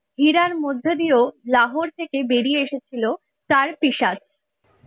হীরার মধ্যে দিয়েও লাহোর থেকে বেরিয়ে এসেছিল তার